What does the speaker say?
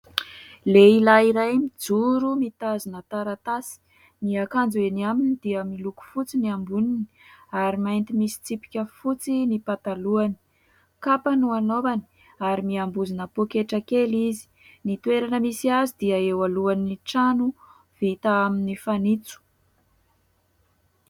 Lehilahy iray mijoro, mitazona taratasy : ny akanjo eny aminy dia miloko fotsy ny amboniny ary mainty misy tsipika fotsy ny patalohany ; kapa no anaovany ary miambozona pôketra kely izy. Ny toerana misy azy dia eo alohan'ny trano vita amin'ny fanitso.